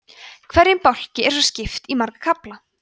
hverjum bálki er svo skipt í marga kafla